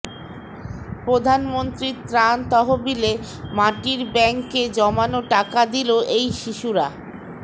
প্রধানমন্ত্রীর ত্রাণ তহবিলে মাটির ব্যাংকে জমানো টাকা দিল এই শিশুরা